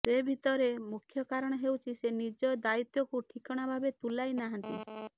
ସେ ଭିତରେ ମୁଖ୍ୟ କାରଣ ହେଉଛି ସେ ନିଜ ଦାୟିତ୍ବକୁ ଠିକଣା ଭାବେ ତୁଲାଇ ନାହାନ୍ତି